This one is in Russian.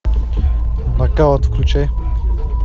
нокаут включай